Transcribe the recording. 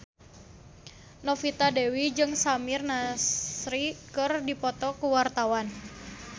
Novita Dewi jeung Samir Nasri keur dipoto ku wartawan